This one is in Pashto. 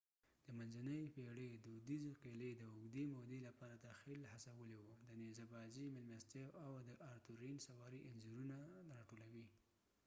د منځنۍ پېړۍ دودیزې قلعې د اوږدې مودې لپاره تخیل هڅولی و د نيزه بازی میلمستیاو او د آرتورېئن سواری انځورونه راټولوي